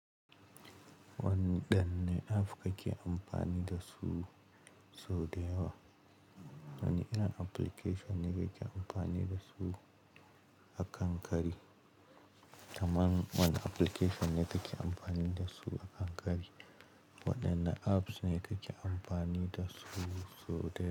Waɗanne apps kake amfani dasu sau da yawa? Wani irin application ne kake amfani dasu a kankari? Kaman wani application ne kake amfani dasu a kankari? Wadanne apps ne kake amfani dasu sau da yawa?